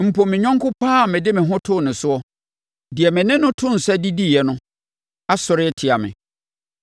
Mpo me yɔnko pa ara a mede me ho too ne soɔ, deɛ me ne no too nsa didiiɛ no, asɔre atia me.